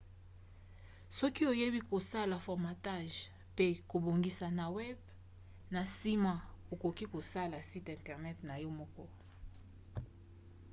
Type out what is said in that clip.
soki oyebi kosala formatage mpe kobongisa na web na nsima okoki kosala site internet na yo moko